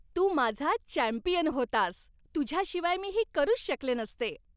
तू माझा चॅम्पियन होतास! तुझ्याशिवाय मी हे करूच शकले नसते!